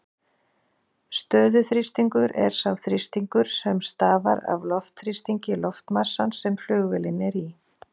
Stöðuþrýstingur er sá þrýstingur sem stafar af loftþrýstingi loftmassans sem flugvélin er í.